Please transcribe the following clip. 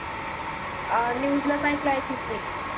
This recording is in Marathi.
अं न news ला आईकल i think मी